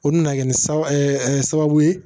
O nana kɛ ni sababu ye